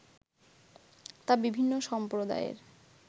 তা বিভিন্ন সম্প্রদায়ের